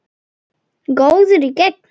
Góður í gegn.